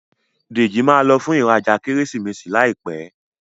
Deji má ló fún ìrajà Kérésìmesì láìpé.